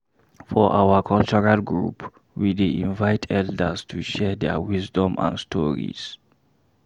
For our cultural group, we dey invite elders to share their wisdom and stories.